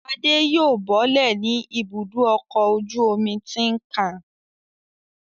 Adé yóò bọ́lẹ̀ ní Ibùdó-ọkọ̀ ojú-omi Tin Can.